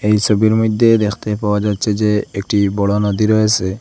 এই সবির মইধ্যে দেখতে পাওয়া যাচ্ছে যে একটি বড় নদী রয়েসে।